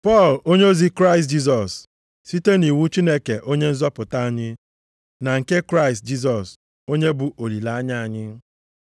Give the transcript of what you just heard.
Pọl, onyeozi Kraịst Jisọs site nʼiwu Chineke Onye nzọpụta anyị, na nke Kraịst Jisọs, onye bụ olileanya anyị,